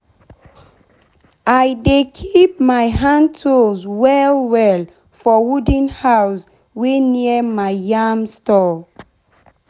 i dey keep my hand tools well well for wooden house wey near my yam store